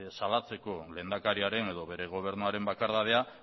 salatzeko lehendakariaren edo bere gobernuaren bakardadea